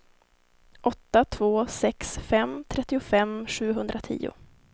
åtta två sex fem trettiofem sjuhundratio